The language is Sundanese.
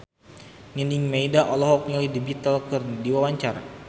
Nining Meida olohok ningali The Beatles keur diwawancara